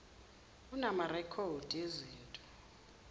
unama rekhodi ezinto